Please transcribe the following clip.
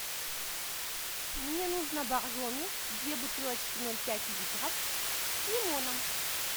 мне нужно боржоми две бутылочки ноль пять литров с лимоном